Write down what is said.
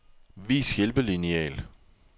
Vis hjælpelineal.